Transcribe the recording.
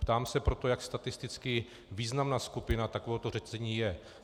Ptám se proto, jak statisticky významná skupina takovéhoto řetězení je.